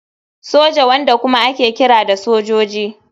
Soja, wanda kuma ake kira da sojoji.